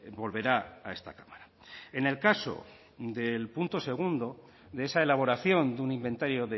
volverá a esta cámara en el caso del punto segundo de esa elaboración de un inventario